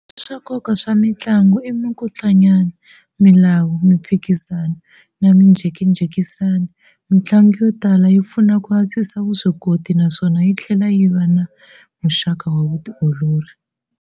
Swa nkoka swa mintlangu i minkutlunya, milawu, mphikizano, na minjhekanjhekisano. Mintlangu yo tala yi pfuna ku antswisa vuswikoti naswona yithlela yi va muxaku wa vutiolori.